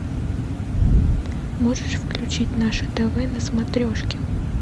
можешь включить наше тв на смотрешке